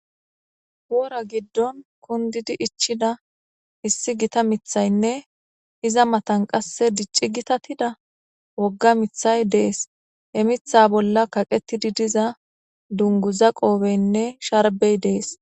Wora giddon kundidi ichida issi gita mithaynne iza matan qasse dicci gitatida wogga mithay dees he mitha bolla kaqetidi diza dungu za qoobeynne sharbey dees.